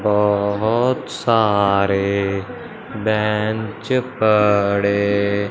बहुत सारे बेंच पड़े--